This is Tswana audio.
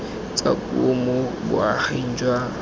tsa puo mo boaging jwa